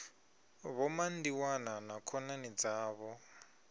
vho mandiwana na khonani dzavho